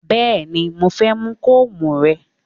Bẹ́ẹ̀ni mo fẹ́ mú kóòmù rẹ